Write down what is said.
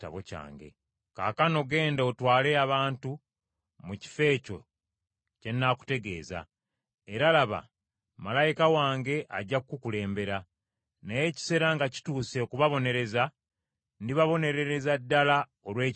Kaakano genda otwale abantu mu kifo ekyo kye nakutegeeza; era, laba, malayika wange ajja kukukulembera. Naye ekiseera nga kituuse okubabonereza ndibabonerereza ddala olw’ekibi kyabwe.”